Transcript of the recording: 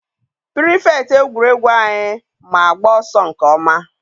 pirifektị egwuregwu anyị ma agba ọsọ nke ọma.